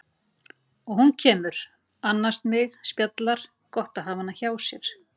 Og hún kemur, annast mig, spjallar, gott að hafa hana hjá sér.